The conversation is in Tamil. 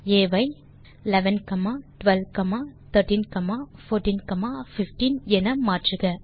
மாற்றுக ஆ ஐ 11 12 13 14 15